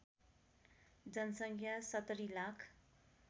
जनसङ्ख्या ७० लाख